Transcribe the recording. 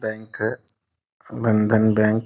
bank है Bandhan bank --